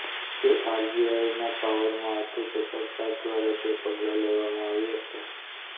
કે આરબીઆઇના પાવરમાં હતું કે સરકાર દ્વારા જે પગલા લેવામાં આવ્યા છે